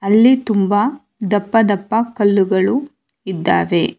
ಅಲ್ಲಿ ತುಂಬಾ ದಪ್ಪ ದಪ್ಪ ಕಲ್ಲುಗಳು ಇದ್ದಾವೆ.